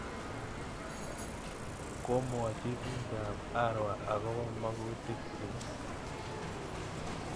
Komwochi piik ap Arua akopo makutik chik.